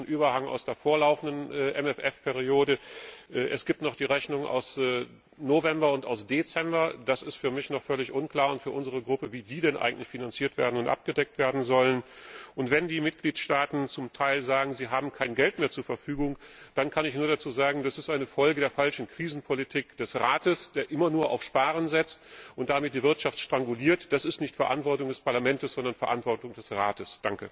Es gibt noch einen Überhang aus der vorlaufenden MFR Periode, es gibt noch die Rechnungen von November und Dezember, da ist für mich und für unsere Fraktion noch völlig unklar, wie die denn eigentlich finanziert und abgedeckt werden sollen, und wenn die Mitgliedstaaten zum Teil sagen, sie haben kein Geld mehr zu Verfügung, dann kann ich nur dazu sagen Das ist eine Folge der falschen Krisenpolitik des Rates, der immer nur auf Sparen setzt und damit die Wirtschaft stranguliert. Das ist nicht Verantwortung des Parlaments, sondern Verantwortung des Rates.